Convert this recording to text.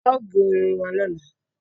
Aò gé irun wà lọla.